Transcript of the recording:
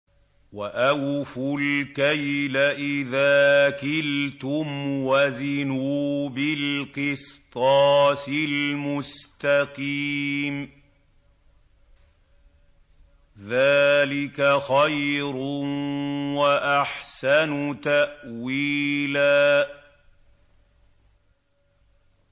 وَأَوْفُوا الْكَيْلَ إِذَا كِلْتُمْ وَزِنُوا بِالْقِسْطَاسِ الْمُسْتَقِيمِ ۚ ذَٰلِكَ خَيْرٌ وَأَحْسَنُ تَأْوِيلًا